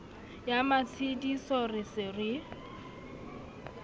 ya matshediso re se re